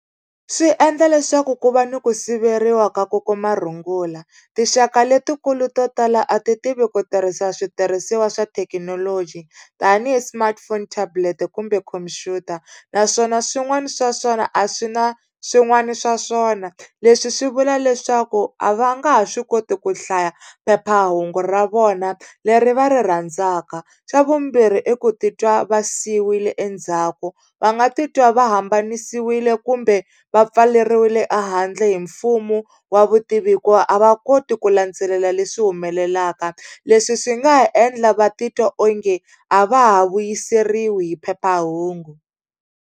Swi endla leswaku ku va ni ku siveriwa ka ku kuma rungula. Tinxaka letikulu to tala a ti tivi ku tirhisa switirhisiwa swa thekinoloji tanihi smartphone tablet kumbe khumpyuta. Naswona swin'wana swa swona a swi na swin'wana swa swona, leswi swi vula leswaku a va nga ha swi koti ku hlaya phephahungu ra vona leri va ri rhandzaka. Xa vumbirhi i ku titwa va siyiwile endzhaku, va nga titwa ka va hambanisiwile kumbe va pfaleriwile ehandle hi mfumo wa vutivi hikuva a va koti ku landzelela leswi humelelaka. Leswi swi nga ha endla va titwa onge a va ha vuyiseriwi hi phephahungu.